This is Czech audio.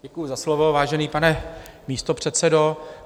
Děkuji za slovo, vážený pane místopředsedo.